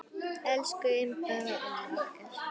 Elsku Imba amma okkar.